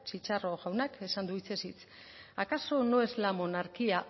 chicharro jaunak esan du hitzez hitz acaso no es la monarquía